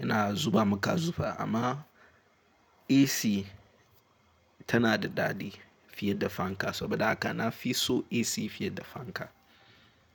yana zuba maka zufa amma AC tana da daɗi fiye da fanka saboda haka na fi son AC fiye da fanka.